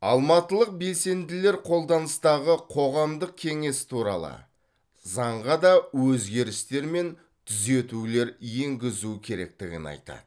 алматылық белсенділер қолданыстағы қоғамдық кеңес туралы заңға да өзгерістер мен түзетулер енгізу керектігін айтады